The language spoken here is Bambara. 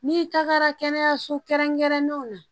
N'i tagara kɛnɛyaso kɛrɛnkɛrɛnnenw na